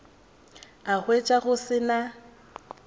a hwetša go se na